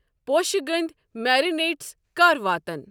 پوشہٕ گٔنٛدؠ، میرینیڈز کَر واتَن؟